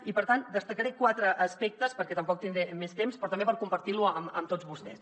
i per tant destacaré quatre aspectes perquè tampoc tindré més temps però també per compartir ho amb tots vostès